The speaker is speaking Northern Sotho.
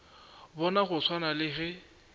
bona go swana le ge